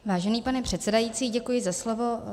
Vážený pane předsedající, děkuji za slovo.